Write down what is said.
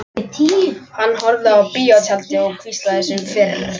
Hann horfði á bíótjaldið og hvíslaði sem fyrr.